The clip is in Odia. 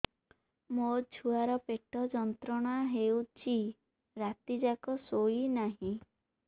ମୋ ଛୁଆର ପେଟ ଯନ୍ତ୍ରଣା ହେଉଛି ରାତି ଯାକ ଶୋଇନାହିଁ